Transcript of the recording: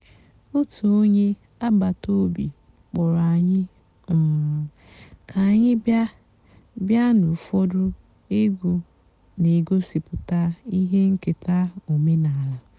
ótú ónyé àgbàtàòbí kpọ́rọ́ ànyị́ um kà ànyị́ bị́á bị́á nụ́ ụ́fọ̀dụ́ ègwú nà-ègosìpụ́tá íhé ǹkèta ọ̀mènàlà.